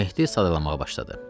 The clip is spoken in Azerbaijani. Mehdi sadalamağa başladı.